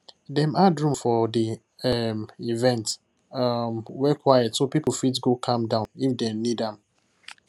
dem add room for the um event um wey quiet so people fit go calm down if dem need am